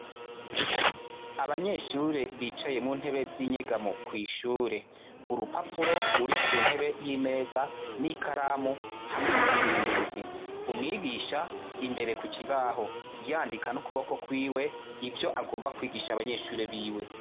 Abanyeshure bicaye muntebe z'inyegamo kw'ishure, urupapuro rurikuntebe y'imeza n'ikaramu hamwe n'akazinduzi, umwigisha imbere kukibaho, yandika n'ukuboko kwiwe, yandika ivyo agomba kwigisha abanyeshure biwe.